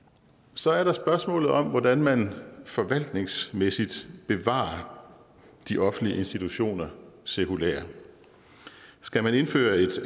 så er der spørgsmålet om hvordan man forvaltningsmæssigt bevarer de offentlige institutioner sekulært skal man indføre et